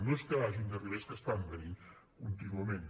no és que hagin d’arribar és que estan venint contínuament